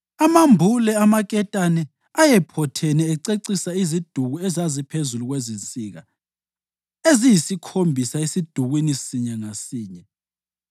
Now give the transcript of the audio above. Amambule amaketane ayephothene acecisa iziduku ezaziphezu kwezinsika eziyisikhombisa esidukwini sinye ngasinye.